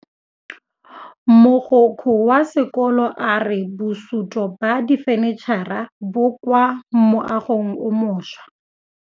Mogokgo wa sekolo a re bosutô ba fanitšhara bo kwa moagong o mošwa.